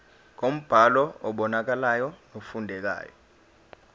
ngombhalo obonakalayo nofundekayo